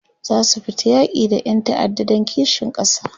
zasu fita yaki da Ƴan ta'adda Dan kishin kasa